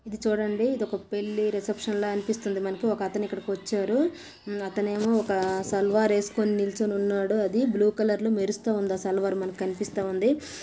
ఇది చూడండి ఇదొక పెళ్ళి రిసెప్షన్ ల అనిపిస్తుంది మనకి ఒకతను ఇక్కడికి వచ్చారు అతనేమో ఒక సల్వార్ వేసుకుని నిలుచుని వున్నాడు అది బ్లూ కలర్ లో మెరుస్తూవుంది ఆ సల్వార్ మనకి కనిపిస్తూవుంది .